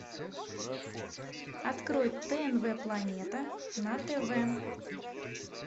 открой тнв планета на тв